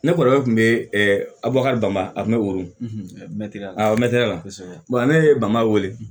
Ne kɔrɔkɛ kun be abukari bama a mɛrɛ mɛtiri ya a mɛntɛrɛri la ne ye bama wele